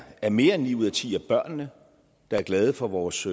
er mere end ni ud af ti af børnene der er glade for vores